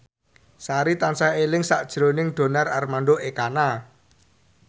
Sari tansah eling sakjroning Donar Armando Ekana